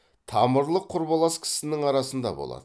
тамырлық құрбылас кісінің арасында болады